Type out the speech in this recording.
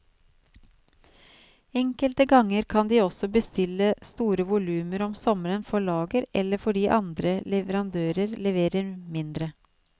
Enkelte ganger kan de også bestille store volumer om sommeren for lager eller fordi andre leverandører leverer mindre.